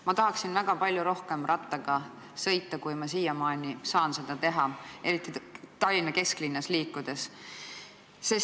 Ma tahaksin väga palju rohkem rattaga sõita, kui ma siiamaani seda teha olen saanud, eriti Tallinna kesklinnas liikudes.